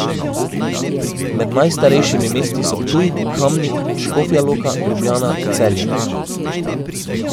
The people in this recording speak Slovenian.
Med najstarejšimi mesti so Ptuj, Kamnik, Škofja Loka, Ljubljana, Celje.